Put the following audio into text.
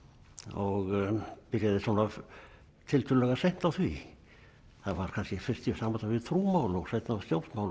og byrjaði svona tiltölulega seint á því það var kannski fyrst í sambandi við trúmál og seinna stjórnmál